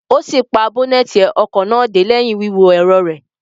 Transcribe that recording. O si pa boneti ọkọ náà dé lẹhin wíwo ẹrọ rẹ